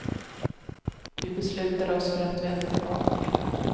Vi beslutar oss för att vända tillbaka.